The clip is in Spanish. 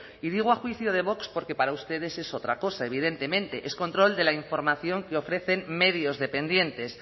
y digo a juicio de vox porque para ustedes es otra cosa evidentemente es control de la información que ofrecen medios dependientes